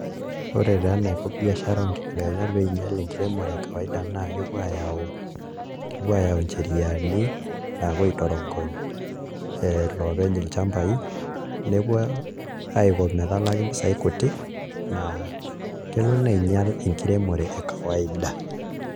Ore taa eniko biashara oonkibelekenyat pee iinyial enkiremore ekawaida naa kepuo aayau ncheriani naapuo aitorogony iloopeny ilchambaai nepuo aiko metalaki mpisaai kuti naa kelo neinyial enkiremore ekawaida.